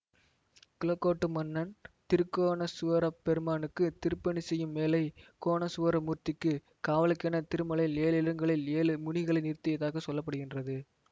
குளக்கோட்டு மன்னன் திருக்கோணேசுவரப் பெருமானுக்கு திருப்பணி செய்யும் வேளை கோணேசுவர மூர்த்திக்கு காவலுக்கென திருமலையின் ஏழு இடங்களில் ஏழு முனிகளை நிறுத்தியதாக சொல்ல படுகின்றது